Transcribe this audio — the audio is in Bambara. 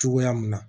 Cogoya mun na